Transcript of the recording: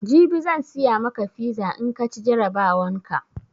Jibi zan siya maka fiza in kaci jarabawan ka